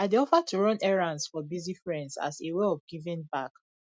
i dey offer to run errands for busy friends as a way of giving back